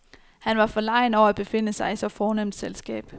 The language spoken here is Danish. Han var forlegen over at befinde sig i så fornemt selskab.